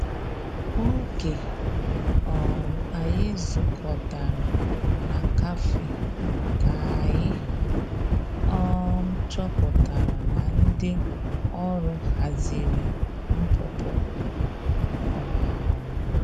Oge um anyi zu kọtara na kafe ka anyi um chọpụtara na ndi ọrụ hazịrị npụpụ. um